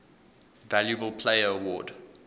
valuable player award